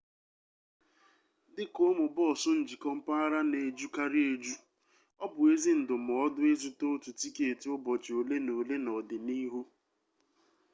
dị ka ụmụ bọọsụ njikọ-mpaghara na-ejukarị eju ọ bụ ezi ndụmọdụ ịzụta otu tiketi ụbọchị ole na ole n'ọdịnihu